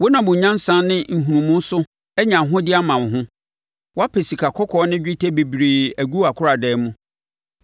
Wonam wo nyansa ne nhunumu so anya ahodeɛ ama wo ho. Woapɛ sikakɔkɔɔ ne dwetɛ bebree agu wʼakoradan mu.